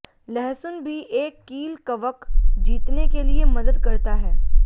लहसुन भी एक कील कवक जीतने के लिए मदद करता है